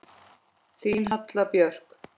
Þín Halla Björk.